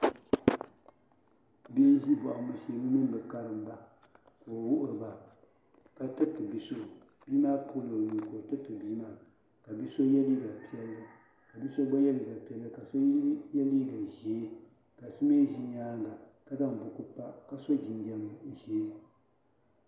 Bihi n ʒi bohambu shee bɛ mini bɛ kariŋ ba ka o wuhiri ba ka tiriti bia so bia maa kpiɣila o nuu ka o tiriti bia maa ka bia so ye liiga piɛlli ka bia so gba ye liiga piɛlli ka ka so ye liiga ʒee ka so mee ʒi nyaanga ka zaŋ buku pa ka so jinjiɛm ʒee.